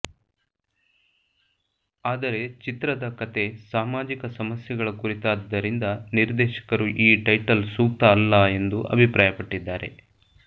ಆದರೆ ಚಿತ್ರದ ಕಥೆ ಸಾಮಾಜಿಕ ಸಮಸ್ಯೆಗಳ ಕುರಿತಾದ್ದರಿಂದ ನಿರ್ದೇಶಕರು ಈ ಟೈಟಲ್ ಸೂಕ್ತ ಅಲ್ಲ ಎಂದು ಅಭಿಪ್ರಾಯಪಟ್ಟಿದ್ದಾರೆ